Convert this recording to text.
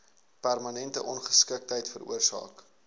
permanente ongeskiktheid veroorsaak